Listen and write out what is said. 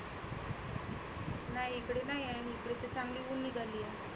नाही इकडे नाहीए, इथे चांगली उनी भरली आहे.